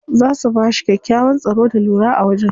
Za su bashi kyakkyawan tsaro da lura a wajen.